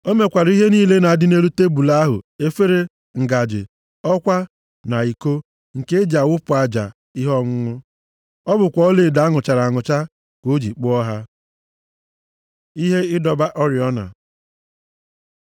O mekwara ihe niile na-adị nʼelu tebul ahụ: efere, ngaji, ọkwa na iko, nke e ji awụpụ aja ihe ọṅụṅụ. Ọ bụkwa ọlaedo a nụchara anụcha ka o ji kpụọ ha. Ihe ịdọba oriọna